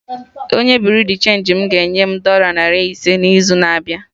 Onye Buriu di chenji m ga-enye m dọla narị ise n'izu na-abịa